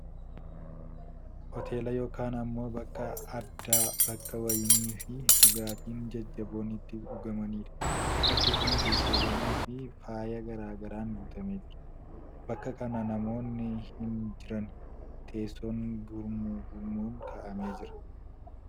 Hooteela yookiin ammoo bakka addaa, bakka wayiniifii dhugaatiin jajjaboon itti dhugamanidha. Bakki kun teessowwanii fii faaya garaa garaan guutamee jira. Bakka kana namoonni hin jirani. Teessoon gurmuu gurmuun kaa'amee jira.